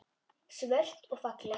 Svört og falleg.